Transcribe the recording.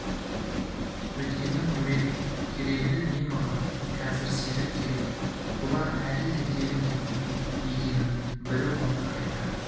өткеннің керегі не маған кәзір серік керек бұлар әлі де тегін кетпейді екінің бірі оны айта